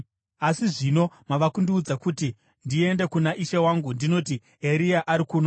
Asi zvino mava kundiudza kuti ndiende kuna ishe wangu ndinoti, ‘Eria ari kuno.’